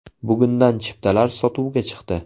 Bugundan chiptalar sotuvga chiqdi.